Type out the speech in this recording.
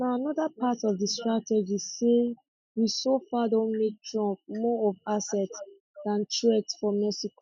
na anoda part of di strategy say we so far don make trump more of asset dan threat for mexico